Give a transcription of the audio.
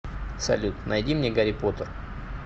салют найди мне гарри поттер